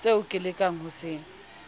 seo ke lekang ho se